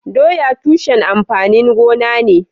Doya tushen amfanin gona ne.